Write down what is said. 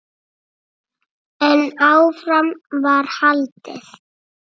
En áfram var haldið.